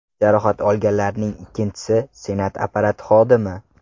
Jarohat olganlarning ikkinchisi Senat apparati xodimi.